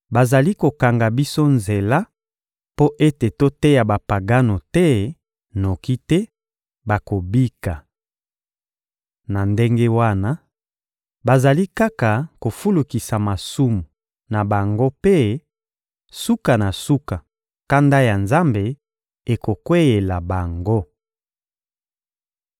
bazali kokanga biso nzela mpo ete toteya Bapagano te, noki te bakobika. Na ndenge wana, bazali kaka kofulukisa masumu na bango mpe, suka na suka, kanda ya Nzambe ekokweyela bango.